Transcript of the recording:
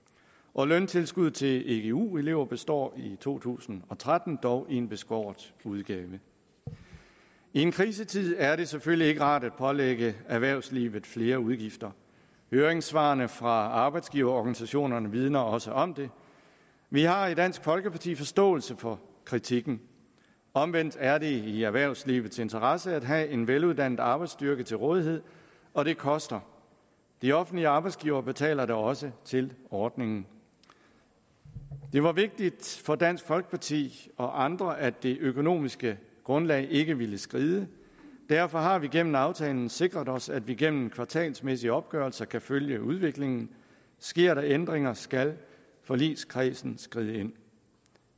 og løntilskuddet til egu elever består i to tusind og tretten dog i en beskåret udgave i en krisetid er det selvfølgelig ikke rart at pålægge erhvervslivet flere udgifter høringssvarene fra arbejdsgiverorganisationerne vidner også om det vi har i dansk folkeparti forståelse for kritikken omvendt er det i erhvervslivets interesse at have en veluddannet arbejdsstyrke til rådighed og det koster de offentlige arbejdsgivere betaler da også til ordningen det var vigtigt for dansk folkeparti og andre at det økonomiske grundlag ikke ville skride derfor har vi gennem aftalen sikret os at vi gennem kvartalsvise opgørelser kan følge udviklingen sker der ændringer skal forligskredsen skride ind